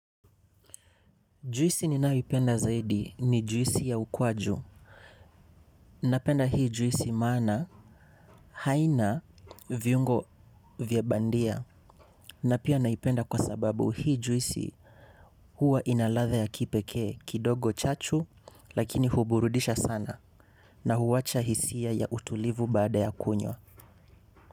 Juisi ninayoipenda zaidi ni juisi ya ukwaju. Napenda hii juisi maana haina viungo vya bandia na pia naipenda kwa sababu hii juisi huwa ina ladha ya kipekee kidogo chachu lakini huburudisha sana na huwacha hisia ya utulivu baada ya kunywa.